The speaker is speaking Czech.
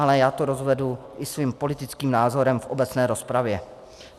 Ale já to rozvedu i svým politickým názorem v obecné rozpravě.